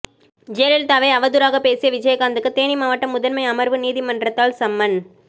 ஜெயலலிதாவை அவதூறாக பேசிய விஜயகாந்துக்கு தேனி மாவட்ட முதன்மை அமர்வு நீதிமன்றத்தால் சம்மன்